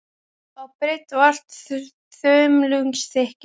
á breidd og allt að þumlungsþykkir.